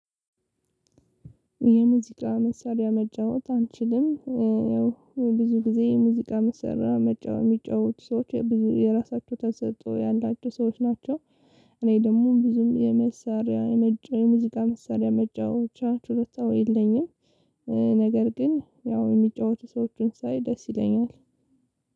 የሙዚቃ መሳሪያ መጫወት አንችልም ያው ብዙ ጊዜ የሙዚቃ መሳሪያ መጫወት ሚጫወቱ ሰዎች የራሳቸው ተሰጥቶ ያላቸው ሰዎች ናቸው። እኔ ደግሞ ብዙም የመሳሪያ የመጫወት የሙዚቃ መሳሪያ መጫወቻ ችሎታው የለኝም። ነገር ግን ያው እሚጫወቱ ሰዎችን ሳይ ደስ ይለኛል።